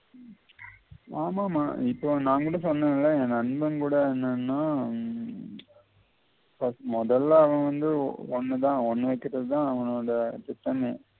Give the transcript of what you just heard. ஆமாமா இப்ப நான் கூட சொன்னே இல்ல என் நண்பன் கூட என்னன்னா உம் first முதல்ல அவன் வந்து உன்னதான் உண்ண விட்டுட தான் அவனோட திட்டமே